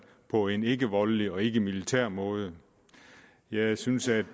på en ikkevoldelig og ikkemilitær måde jeg synes at